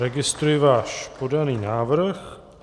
Registruji váš podaný návrh.